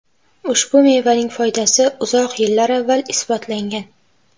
Ushbu mevaning foydasi uzoq yillar avval isbotlangan.